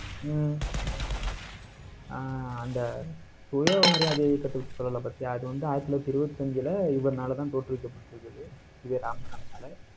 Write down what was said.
ஹம் ஆஹ் அந்த சுயமரியாதை இயக்கத்தைப்பத்தி சொல்லலை பாத்தியா? அது வந்து ஆயிரத்தி தொள்ளாயிரத்தி இருவத்தி அஞ்சில, இவர்னாலதான் தோற்றுவிக்கப்பட்டிருக்குது. ஈ. வெ. ராமசாமினால